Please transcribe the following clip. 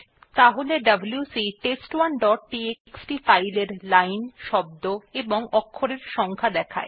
তাহলে WC test one dot TXT file এর line শব্দ এবং অক্ষরের সংখ্যা দেখাবে